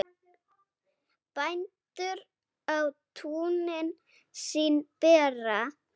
Bændur á túnin sín bera.